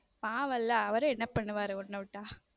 பாவம்ல அவரும் என்ன பண்ணுவாரு உன்ன விட்டா